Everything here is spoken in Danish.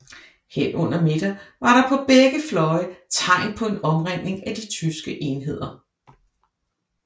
Hen under middag var der på begge fløje tegn på en omringning af de tyske enheder